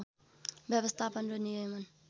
व्यवस्थापन र नियमन